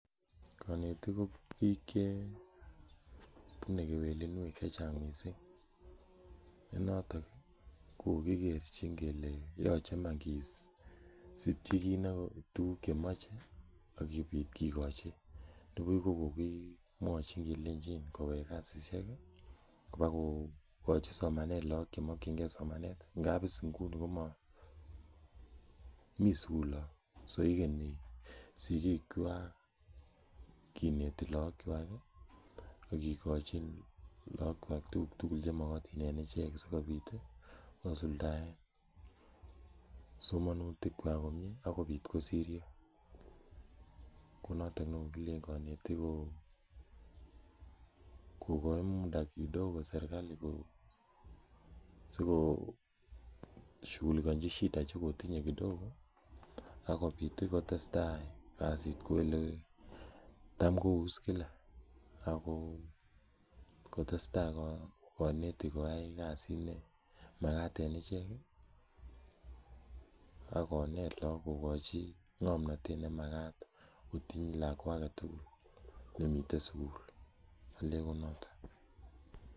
Konetik ko biik chebunee kewelinwek chechang missing, ne noton kokokikerchin kele yoche iman kisipchi kit tuguk chemoche akopit kikochi, nibuch kokokimwachin kelenjin kowek kasisiek kwokokochi look somanet, ngap is inguni komo mii sugul look, so igeni sikikwak kinete lookchwak akikochin lookwak tuguk tugul chemokotin en ichek sikonit kosuldaen somanutikwak komie akopit kosiryo konoton nekokilen konetik koo kokoi muda serikali sikoshughulikanji shida chekotinye kidogo akopit kotestaa kasit kou yekitam kou is kila ako testai konetik koyai kasit nemakat en ichek akonet look kokochi ng'omnotet nemakat kotiny lakwa agetugul nemiten sugul alen ko noton.